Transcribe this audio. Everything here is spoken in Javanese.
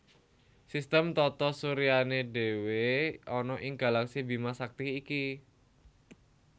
Sistem tata suryané dhéwé ana ing galaksi Bima Sakti iki